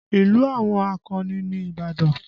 Ìlú àwọn akọni ni Ìbàdàn